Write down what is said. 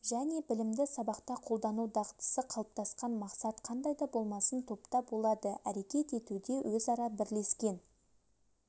және білімді сабақта қолдану дағдысы қалыптасқан мақсат қандай да болмасын топта болады әрекет етуде өзара бірлескен